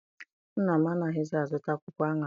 Nna m anaghịzi a zụta akwụkwọ aṅara.